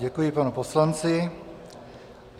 Děkuji panu poslanci.